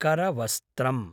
करवस्त्रम्